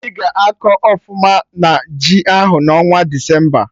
Mmiri ga-akọ ọfụma na ji ahụ n'ọnwa Desemba